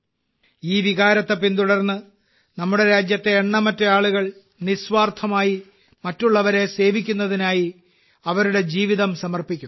ഈ വികാരത്തെ പിന്തുടർന്ന് നമ്മുടെ രാജ്യത്ത് എണ്ണമറ്റ ആളുകൾ നിസ്വാർത്ഥമായി മറ്റുള്ളവരെ സേവിക്കുന്നതിനായി അവരുടെ ജീവിതം സമർപ്പിക്കുന്നു